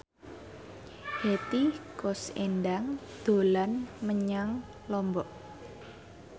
Hetty Koes Endang dolan menyang Lombok